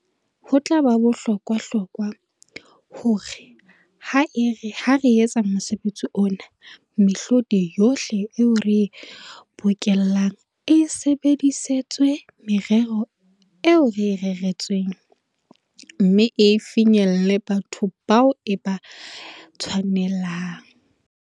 "Ho tla ba bohlokwahlokwa, hore ha re etsa mosebetsi ona, mehlodi yohle eo re e bokellang e sebedisetswe merero eo e reretsweng, mme e finyelle ho batho bao e ba tshwanelang."